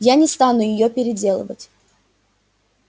я не стану её переделывать